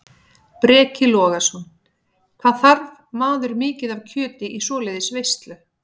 Breki Logason: Hvað þarf maður mikið af kjöti í svoleiðis veislu?